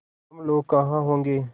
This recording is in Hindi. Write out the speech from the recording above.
हम लोग कहाँ होंगे